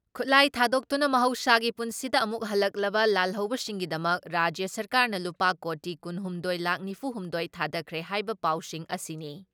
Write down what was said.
ꯈꯨꯠꯂꯥꯏ ꯊꯥꯗꯣꯛꯇꯨꯅ ꯃꯍꯧꯁꯥꯒꯤ ꯄꯨꯟꯁꯤꯗ ꯑꯃꯨꯛ ꯍꯜꯂꯛꯂꯕ ꯂꯥꯜꯍꯧꯕꯁꯤꯡꯒꯤꯗꯃꯛ ꯔꯥꯖ꯭ꯌ ꯁꯔꯀꯥꯔꯅ ꯂꯨꯄꯥ ꯀꯣꯇꯤ ꯀꯨꯟ ꯍꯨꯝꯗꯣꯏ ꯂꯥꯈ ꯅꯤꯐꯨ ꯍꯨꯝꯗꯣꯏ ꯊꯥꯗꯈ꯭ꯔꯦ ꯍꯥꯏꯕ ꯄꯥꯎꯁꯤꯡ ꯑꯁꯤꯅꯤ ꯫